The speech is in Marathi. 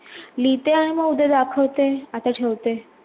लिहते आणि मग उदया दाखवते आता ठेवते